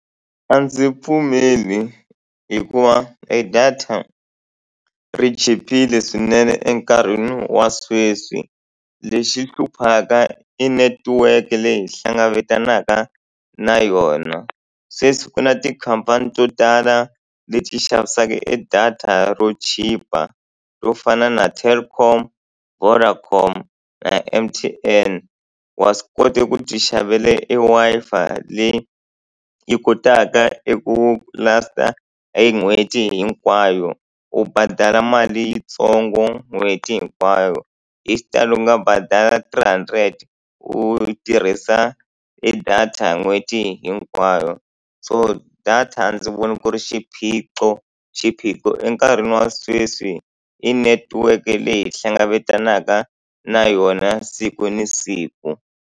A ndzi pfumeli hikuva e data ri chipile swinene enkarhini wa sweswi, lexi hluphaka i netiweke leyi hi hlanganelaka na yona. Sweswi siku na tikhampani to tala leti xavisaka e data ro chipa to fana na Telkom, Vodacom na M_T_N. Wa swi kota ku ti xavela e Wi-Fi leyi yi kotaka i ku last-a e n'hweti hinkwayo, u badala mali yitsongo n'hweti hinkwayo. Hi xitalo u nga badala three hundred u tirhisa e data n'hweti hinkwayo. So data a ndzi voni ku ri xiphiqo, xiphiqo enkarhini wa sweswi i netiweke leyi hlanganelaka na yona siku ni siku.